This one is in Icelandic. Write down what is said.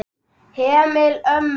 Heimili ömmu.